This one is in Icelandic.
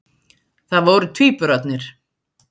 Það voru tvíburarnir